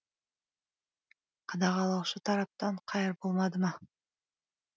қадағалаушы тараптан қайыр болмады ма